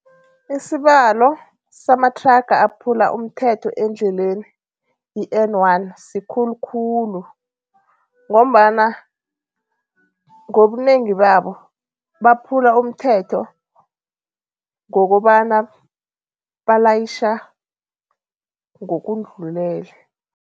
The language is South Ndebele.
Isibalo samathraga aphula umthetho endleleni i-N one sikhulu khulu ngombana ngobunengi babo baphula umthetho, ngokobana balayitjha ngokundlulele.